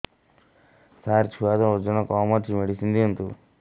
ସାର ଛୁଆର ଓଜନ କମ ଅଛି ମେଡିସିନ ଦିଅନ୍ତୁ